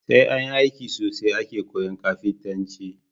Sai anyi aiki sosai ake koyan kafintanci